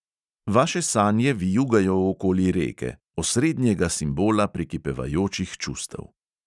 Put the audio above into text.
Vaše sanje vijugajo okoli reke – osrednjega simbola prekipevajočih čustev.